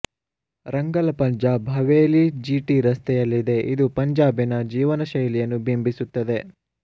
Rangla Punjab Haveli GT ರಸ್ತೆಯಲ್ಲಿದೆ ಇದು ಪಂಜಾಬಿನ ಜೀವನಶೈಲಿಯನ್ನು ಬಿಂಬಿಸುತ್ತದೆ